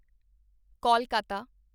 Kolkata